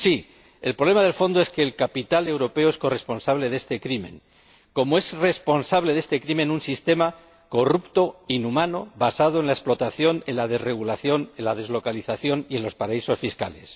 Sí, el problema de fondo es que el capital europeo es corresponsable de este crimen, como es responsable de este crimen un sistema corrupto, inhumano, basado en la explotación, en la desregulación, en la deslocalización y en los paraísos fiscales.